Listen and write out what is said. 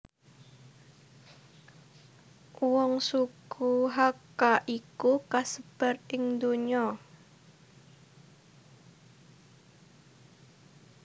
Wong suku Hakka iku kasebar ing ndonya